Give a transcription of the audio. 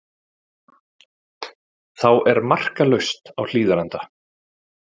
Þá er markalaust á Hlíðarenda